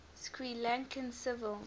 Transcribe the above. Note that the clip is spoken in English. sri lankan civil